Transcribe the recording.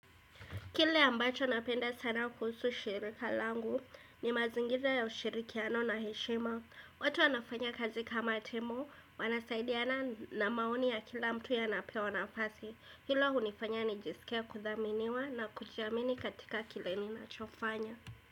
Kile ambacho napenda sana kuhusu shirika langu ni mazingira ya ushirikiano na heshima. Watu wanafanya kazi kama timu, wanasaidiana na maoni ya kila mtu yanapewa nafasi. Hilo hunifanya nijiskie kuthaminiwa na kujiamini katika kile ninachofanya.